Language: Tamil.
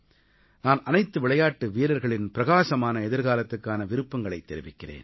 நான் அனைத்து விளையாட்டு வீரர்களின் பிரகாசமான எதிர்காலத்துக்கான விருப்பங்களைத் தெரிவிக்கிறேன்